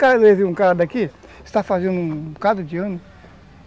está fazendo um bocado de ano.